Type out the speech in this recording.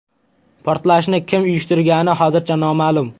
Portlashni kim uyushtirgani hozircha noma’lum.